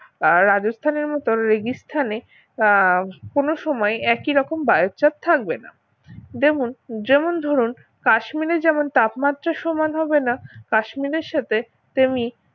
রাজস্থানের মতন রেগিস্থান এ বা কোন সময় একই রকম বায়ুর চাপ থাকবে না দেখুন যেমন ধরুন কাশ্মীরে যেমন তাপমাত্রা সমান হবে না কাশ্মীরের সাথে তেমনি